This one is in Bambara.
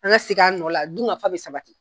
An ka segin an nɔ la, dun ka fa bi sabati